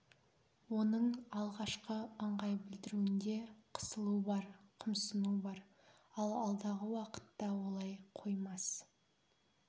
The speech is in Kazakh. оның алғашқы ыңғай білдіруінде қысылу бар қымсыну бар ал алдағы уақытта олай қоймас